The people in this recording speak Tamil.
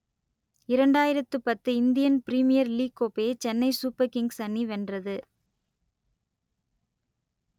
இரண்டாயிரத்து பத்து இந்தியன் பிரிமியர் லீக் கோப்பையை சென்னை சூப்பர் கிங்ஸ் அணி வென்றது